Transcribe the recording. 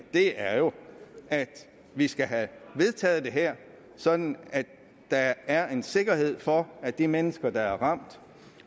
er jo at vi skal have vedtaget det her sådan at der er en sikkerhed for at de mennesker der er ramt